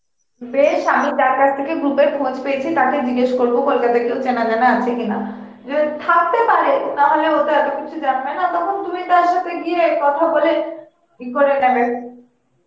বেশ আমি যার কাছ থেকে group এর খোঁজ পেয়েছি, তাকে জিজ্ঞাসা করব কেউ চেনাজানা আছে কিনা, রে~ থাকতে পারে, নাহলে ও তো এত কিছু জানবে না, তখন তুমি তার সথে গিয়ে কথা বলে ই করে নেবে